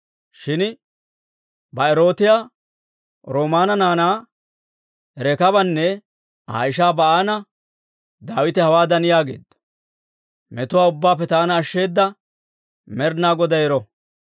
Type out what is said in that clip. Shin Ba'erootiyaa Rimoona naanaa Rekaabanne Aa ishaa Ba'aana Daawite hawaadan yaageedda; «Metuwaa ubbaappe taana ashsheeda Med'inaa Goday ero!